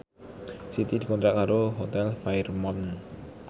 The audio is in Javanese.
Siti dikontrak kerja karo Hotel Fairmont